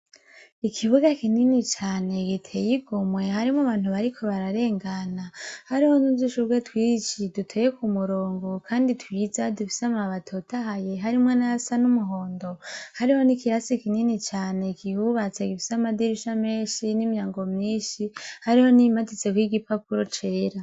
Ikibuga kinini cane igiteye igomwe harimwo bantu bariko bararengana hariho nuzishubwe twiciye duteye ku murongo, kandi tuyiza dufisa amabatotahaye harimwo n'ayasa n'umuhondo hariho n'ikirasi kinini cane gihubatse gifisa amadirisha menshi n'imyango myinshi hariho n'iyimatitse ko'igipapura gucera.